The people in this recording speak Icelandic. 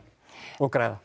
og græða